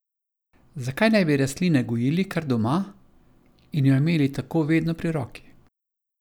Zakaj ne bi rastline gojili kar doma in jo imeli tako vedno pri roki?